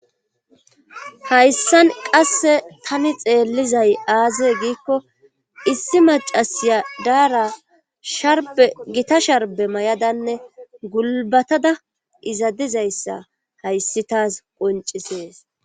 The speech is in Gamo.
hayssan qasse tani xeellizay aaze giikko issi macasiya daara sharbe gita sharbe may7adanne gulbatada izadizayssa hayssi taas qoncisees